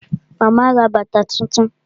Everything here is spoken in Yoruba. Màmá ra bàtà tuntun